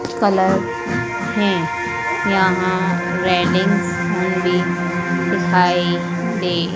colour है यहां railings भी दिखाई दे--